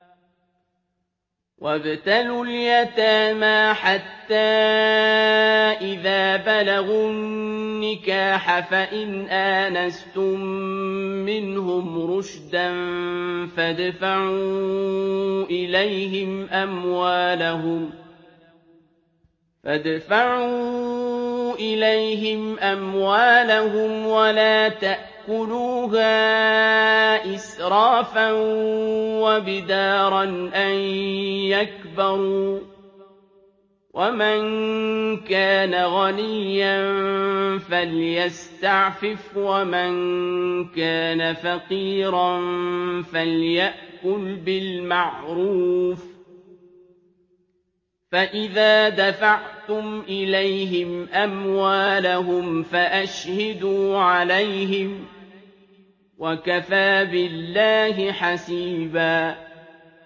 وَابْتَلُوا الْيَتَامَىٰ حَتَّىٰ إِذَا بَلَغُوا النِّكَاحَ فَإِنْ آنَسْتُم مِّنْهُمْ رُشْدًا فَادْفَعُوا إِلَيْهِمْ أَمْوَالَهُمْ ۖ وَلَا تَأْكُلُوهَا إِسْرَافًا وَبِدَارًا أَن يَكْبَرُوا ۚ وَمَن كَانَ غَنِيًّا فَلْيَسْتَعْفِفْ ۖ وَمَن كَانَ فَقِيرًا فَلْيَأْكُلْ بِالْمَعْرُوفِ ۚ فَإِذَا دَفَعْتُمْ إِلَيْهِمْ أَمْوَالَهُمْ فَأَشْهِدُوا عَلَيْهِمْ ۚ وَكَفَىٰ بِاللَّهِ حَسِيبًا